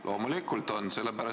Loomulikult on!